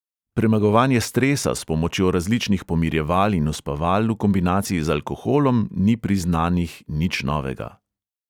Premagovanje stresa s pomočjo različnih pomirjeval in uspaval v kombinaciji z alkoholom ni pri znanih nič novega.